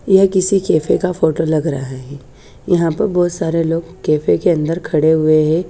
यह किसी कैफ़े का फोटो लग रहा है यहा पे बोहोत सारे लोग कैफ़े के अन्दर खड़े हुए है ।